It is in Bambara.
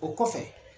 O kɔfɛ